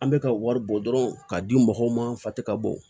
An bɛ ka wari bɔ dɔrɔn k'a di mɔgɔw ma fa tɛ ka bɔ